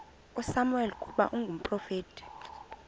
usamuweli ukuba ngumprofeti